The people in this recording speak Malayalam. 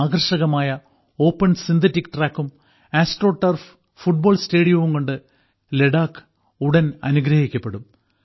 ആകർഷകമായ ഓപ്പൺ സിന്തറ്റിക് ട്രാക്കും ആസ്ട്രോടർഫ് ഫുട്ബോൾ സ്റ്റേഡിയവുംകൊണ്ട് ലഡാക്ക് ഉടൻ അനുഗ്രഹിക്കപ്പെടും